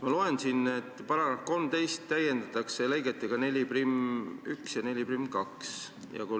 Ma loen siit, et § 13 täiendatakse lõigetega 41 ja 42.